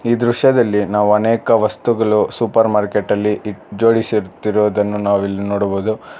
ಈ ದೃಶ್ಯದಲ್ಲಿ ನಾವು ಅನೇಕ ವಸ್ತುಗಳು ಸೂಪರ್ ಮಾರ್ಕೆಟ್ ಅಲ್ಲಿ ಜೋಡಿಸಿಟ್ಟಿರುವುದನ್ನು ನಾವು ಇಲ್ಲಿ ನೋಡಬಹುದು.